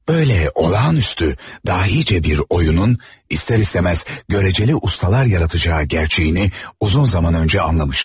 Böyle olağanüstü, dahicə bir oyunun ister istemez göreceli ustalar yaratacağı gerçeğini uzun zaman önce anlamıştım.